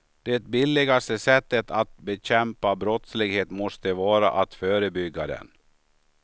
Det billigaste sättet att bekämpa brottslighet måste vara att förebygga den.